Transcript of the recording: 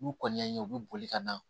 N'u kɔni y'an ye u bi boli ka na